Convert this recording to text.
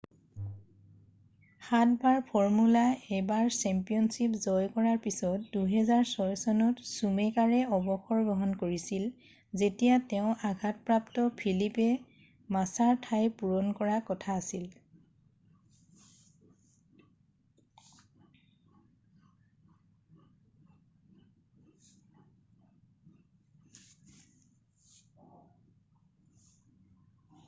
সাতবাৰ formula 1 championship জয় কৰাৰ পিছত 2006 চনত চুমেকাৰে অৱসৰ গ্ৰহণ কৰিছিল যেতিয়া তেঁও আঘাতপ্ৰাপ্ত ফিলিপে মাছাৰ ঠাই পূৰণ কৰা কথা আছিল